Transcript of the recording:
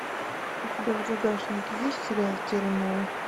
у тебя в загашнике есть сериал терра нова